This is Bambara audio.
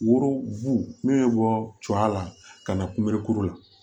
Woro bu bɛ bɔ coya la ka na kunberekuru la